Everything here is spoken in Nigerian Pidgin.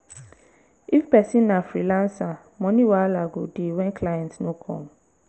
if person na freelancer money wahala go dey when client no come